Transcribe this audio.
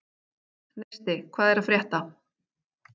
Neisti, hvað er að frétta?